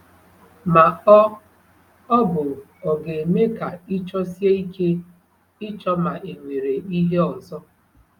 Ma ọ ọ bụ ọ̀ ga-eme ka ị chọsie ike ịchọ ma e nwere ihe ọzọ?